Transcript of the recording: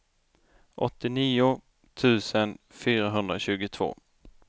åttionio tusen fyrahundratjugotvå